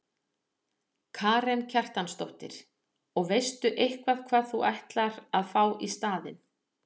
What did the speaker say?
Karen Kjartansdóttir: Og veistu eitthvað hvað þú ætlar að fá í staðinn?